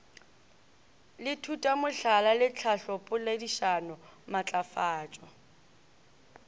le thutomohlala le tlhahlopoledišano maatlafatšo